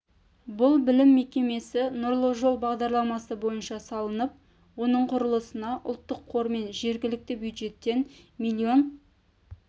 бұл білім мекемесі нұрлы жол бағдарламасы бойынша салынып оның құрылысына ұлттық қор мен жергілікті бюджеттен миллион